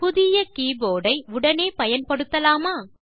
புதிய கீபோர்ட் ஐ உடனே பயன்படுத்தலாமா